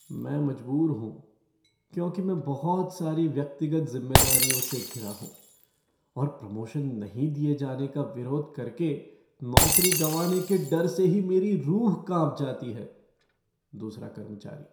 मैं मजबूर हूँ, क्योंकि मैं बहुत सारी व्यक्तिगत ज़िम्मेदारियों से घिरा हूँ और प्रमोशन नहीं दिए जाने का विरोध करके नौकरी गंवाने के डर से ही मेरी रूह कांप जाती है। दूसरा कर्मचारी